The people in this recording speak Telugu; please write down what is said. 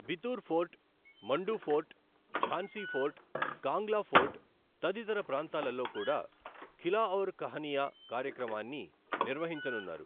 Bithoor fort, Mandu fort, Jhansi fort, Kangla fort తదితర ప్రాంతాలలో కూడా ఖిలాఔర్ కహనియా కార్యక్రమాన్ని నిర్వహించనున్నారు.